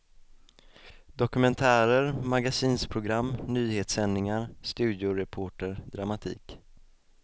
Dokumentärer, magasinsprogram, nyhetssändningar, studioreporter, dramatik.